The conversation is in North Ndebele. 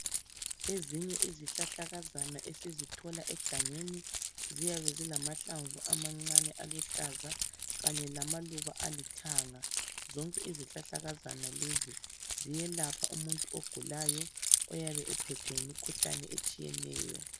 Ezinye izihlahlakazana esizithola egangeni ziyabe zilamahlamvu amancane aluhlaza kanye lamaluba alithanga. Zonke izihlahlakazana lezi ziyelapha umuntu ogulayo oyabe ephethwe yimkhuhlane etshiyeneyo.